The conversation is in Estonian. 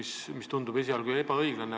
See tundub ebaõiglane.